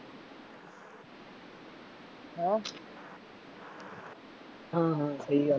ਹਾਂ ਹਾਂ ਸਹੀ ਗੱਲ ਹੈ